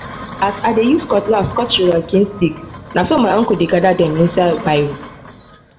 as i dey use cutlass cut sugarcane stick na so my uncle dey gather them inside barrow